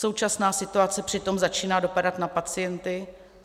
Současná situace přitom začíná dopadat na pacienty.